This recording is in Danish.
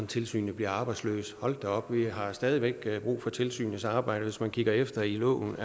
tilsynet bliver arbejdsløs hold da op vi har stadig væk brug for tilsynets arbejde hvis man kigger efter i loven